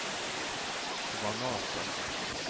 granater